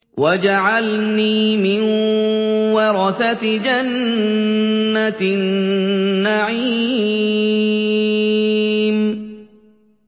وَاجْعَلْنِي مِن وَرَثَةِ جَنَّةِ النَّعِيمِ